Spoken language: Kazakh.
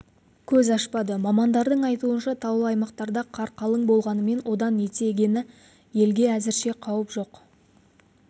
көз ашпады мамандардың айтуынша таулы аймақтарда қар қалың болғанымен одан етектегі елге әзірше қауіп жоқ